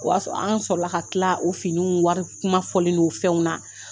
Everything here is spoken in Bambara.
O y'a sɔrɔ an sɔrɔ la ka kila o finiw wari kuma fɔli n'o fɛnw na